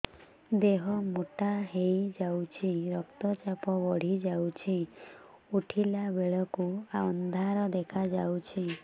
ଦେହ ମୋଟା ହେଇଯାଉଛି ରକ୍ତ ଚାପ ବଢ଼ି ଯାଉଛି ଉଠିଲା ବେଳକୁ ଅନ୍ଧାର ଦେଖା ଯାଉଛି